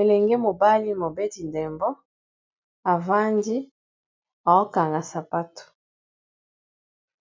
elenge mobali mobeti ndembo avandi aokanga sapato